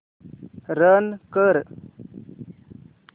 run कर